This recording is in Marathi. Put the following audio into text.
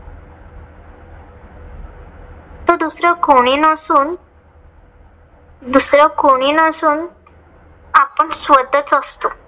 तर दुसरं कोणी नसून दुसरं किणी नसून. आपण स्वतःच असतो.